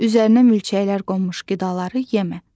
Üzərinə milçəklər qonmuş qidaları yemə.